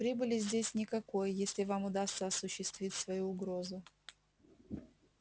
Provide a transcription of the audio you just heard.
прибыли здесь никакой если вам удастся осуществить свою угрозу